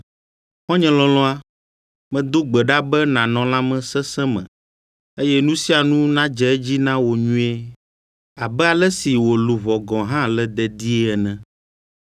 Xɔ̃nye lɔlɔ̃a, medo gbe ɖa be nànɔ lãmesesẽ me, eye nu sia nu nadze edzi na wò nyuie abe ale si wò luʋɔ gɔ̃ hã le dedie ene.